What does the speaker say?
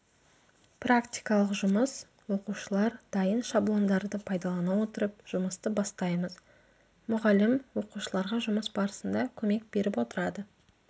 практикалық жұмыс оқушылар дайын шаблондарды пайдалана отырып жұмысты бастаймыз мұғалім оқушыларға жұмыс барысында көмек беріп отырады